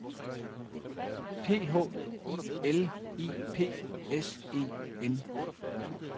P H I L I P S E N